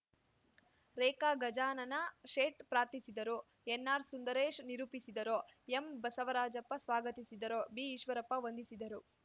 ರೇಖಾ ಗಜಾನನ ಶೇಠ್‌ ಪ್ರಾರ್ಥಿಸಿದರು ಎನ್‌ಆರ್‌ಸುಂದರೇಶ್‌ ನಿರೂಪಿಸಿದರುಎಂಬಸವರಾಜಪ್ಪ ಸ್ವಾಗತಿಸಿದರು ಬಿಈಶ್ವರಪ್ಪ ವಂದಿಸಿದರು